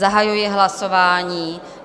Zahajuji hlasování.